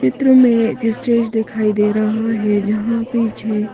चित्र में एक स्टेज दिखाई दे रहा है जहाँ पीछे --